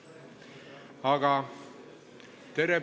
Tänan teid mõistva suhtumise eest!